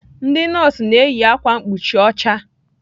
Ndị nọọsụ na-eyi ákwà mkpuchi ocha.